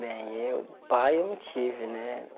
Bem, eu pai eu não tive, né?